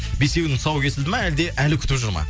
бесеуінің тұсауы кесілді ма әлде әлі күтіп жүр ма